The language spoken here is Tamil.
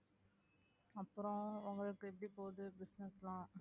அப்புறம் உங்களுக்கு எப்படி போகுது business எல்லாம்